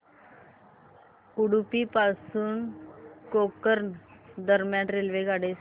उडुपी पासून गोकर्ण दरम्यान रेल्वेगाडी सांगा